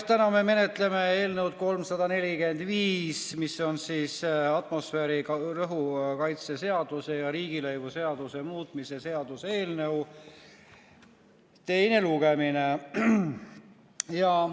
Täna me menetleme eelnõu 345, toimub atmosfääriõhu kaitse seaduse ja riigilõivuseaduse muutmise seaduse eelnõu teine lugemine.